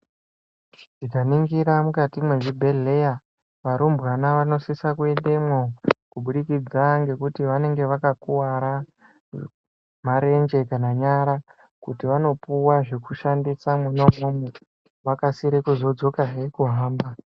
Tikaningira mukati mezvibhedhlera varumbwana vanosise kuendemo kubudikidza ngekuti vanenge vakakuvara marenje kana nyara kuti vanopuwa zvekushandisa mwonaimomo vakasire kuzodzoka hee kuhamba.